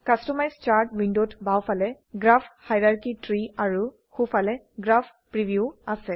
customise chart উইন্ডোত বাওফালে graph hierarchy tree আৰু সোফালে গ্ৰাফ প্ৰিভিউ আছে